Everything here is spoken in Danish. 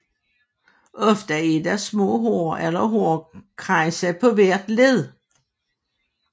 Ofte er der små hår eller hårkranse på hvert led